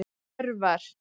Örvar